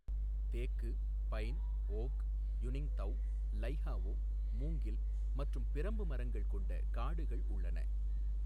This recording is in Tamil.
தேக்கு, பைன், ஓக், யுனிங்தௌ, லைஹாவோ, மூங்கில் மற்றும் பிரம்பு மரங்கள் கொண்ட காடுகள் உள்ளன.